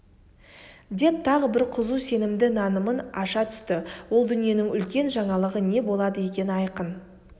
деп тағы бір қызу сенімді нанымын аша түсті ол дүниенің үлкен жаңалығы не болады ең айқын